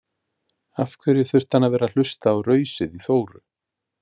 Af hverju þurfti hann að vera að hlusta á rausið í Þóru?